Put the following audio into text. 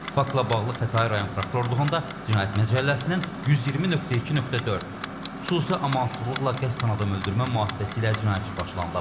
Faktla bağlı Xətai rayon prokurorluğunda Cinayət Məcəlləsinin 120.2.4 xüsusi amansızlıqla qəsdən adam öldürmə maddəsi ilə cinayət işi başlanılıb.